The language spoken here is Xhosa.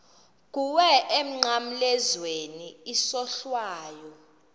kuwe emnqamlezweni isohlwayo